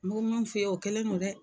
N be mun f'i ye, o kelen don dɛ.